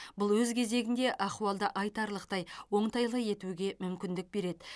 бұл өз кезегінде ахуалды айтарлықтай оңтайлы етуге мүмкіндік береді